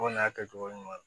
Kɔni y'a kɛ cogo ɲuman ye